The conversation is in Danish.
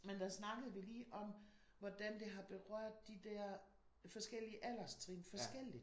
Men der snakkede vi lige om hvordan det har berørt de der forskellige alderstrin forskelligt